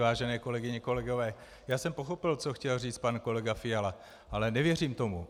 Vážené kolegyně, kolegové, já jsem pochopil, co chtěl říci pan kolega Fiala, ale nevěřím tomu.